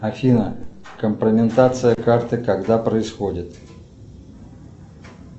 афина компрометация карты когда происходит